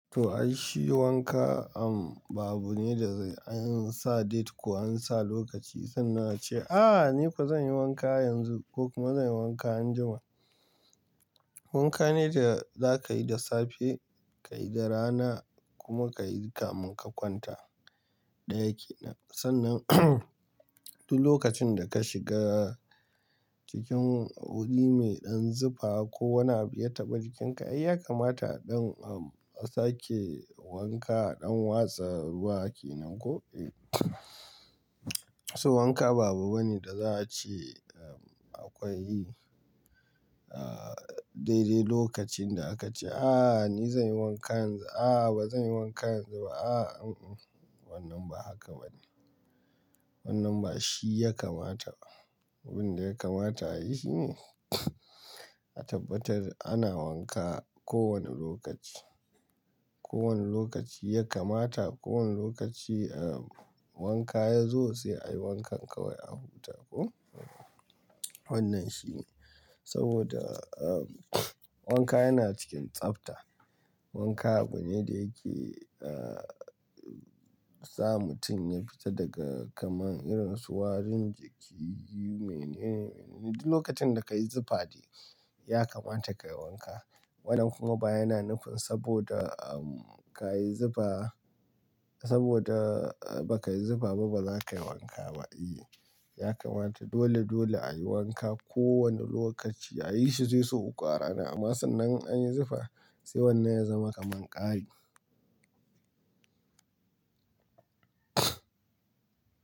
To, ai shi wanka am ba abune da an sa date ko an sa lokaci, sannan ace, "Ah ni fa zan yi wanka yanzu ko kuma zan yi wanka anjima." Wanka ne da za ka yi da safe, ka yi da rana kuma ka yi kamun ka kwanta, daya yake. Sannan duk lokacin da ka shiga cikin wuri mai ɗan zipa ko wani abu ya taɓa jikinka, ai ya kamata don a sake wanka don watsa ruwa kenan koh. So wanka ba abu bane da za a ce akwai dai dai lokacin da aka ce, "Ah ni zan yi wanka yanzu. Ah ba zan yi wanka yanzu ba. Ah unhun." Wannan ba haka bane. Wannan ba shi ya kamata ba. Abin da ya kamata a yi shi ne a tabbatar ana wanka kowane lokaci. Kowane lokaci ya kamata, kowane lokaci wanka ya zo sai a yi wankan kawai a huta koh. Wannan shi ne saboda wanka yana cikin tsafta. Wanka abu ne da yake a sa mutum ya fita daga kamar irin su warin jiki. Duk lokacin da ka yi zufa dai ya kamata ka yi wanka. Waɗannan kuma ba yana nufin saboda ka yi zufa saboda ba ka yi zufa ba, ba za ka yi wanka ba. I, ya kamata dole dole a yi wanka kowane lokaci a yi shi zai so ƙwara. Amma sannan in anyi zufa sai wannan ya zama kamar ƙari.